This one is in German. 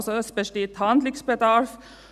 Also: Es besteht Handlungsbedarf.